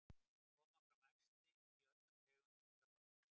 koma fram æxli í öllum tegundum krabbameins